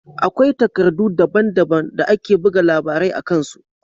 Akwai takardu daban-daban da ake buga labarai a kan su.